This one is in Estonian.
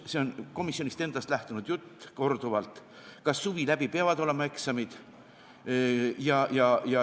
See on komisjonist endast korduvalt lähtunud jutt, kas suvi läbi peavad olema eksamid.